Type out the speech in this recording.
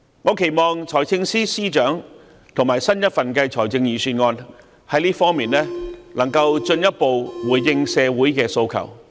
我期望財政司司長和新一份財政預算案在這方面能夠進一步回應社會的訴求。